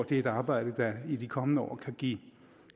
det er et arbejde der i de kommende år kan give